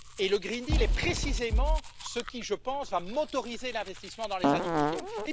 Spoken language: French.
Le pacte vert est précisément ce qui, je pense, va stimuler l'investissement dans les années qui viennent.